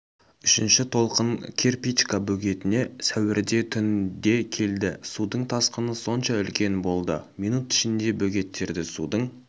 үшінші толқын кирпичка бөгетіне сәуірде түнде келді судың тасқыны сонша үлкен болды минут ішінде бөгеттегі судың